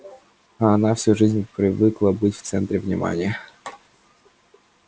а она всю жизнь привыкла быть в центре внимания